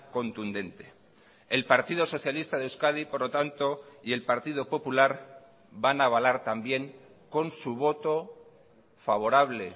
contundente el partido socialista de euskadi por lo tanto y el partido popular van a avalar también con su voto favorable